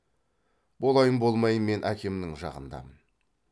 болайын болмайын мен әкемнің жағындамын